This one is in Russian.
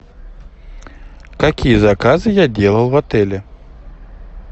какие заказы я делал в отеле